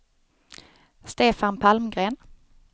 Stefan Palmgren